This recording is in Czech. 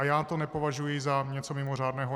A já to nepovažuji za něco mimořádného.